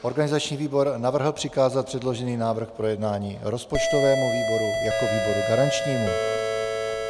Organizační výbor navrhl přikázat předložený návrh k projednání rozpočtovému výboru jako výboru garančnímu.